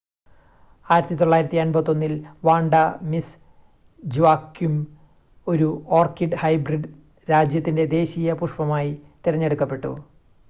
1981-ൽ Vanda Miss Joaquim ഒരു orchid hybrid രാജ്യത്തിൻ്റെ ദേശീയ പുഷ്‌പമായി തിരഞ്ഞെടുക്കപ്പെട്ടു